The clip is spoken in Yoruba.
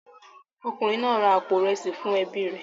Ọkùnrin náà ra àpò ìrẹsì fún ẹbí rẹ̀